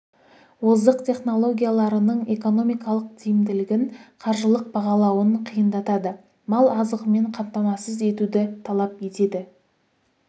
озық технологияларының экономикалық тиімділігін қаржылық бағалауын қиындатады мал азығымен қамтамасыз етуді талап етеді